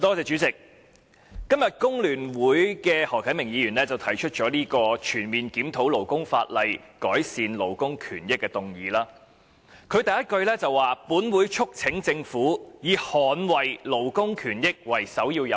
主席，工聯會的何啟明議員今天動議了這項"全面檢討勞工法例，改善勞工權益"的議案，當中首句的內容便是"本會促請政府以捍衞勞工權益為首要任務"。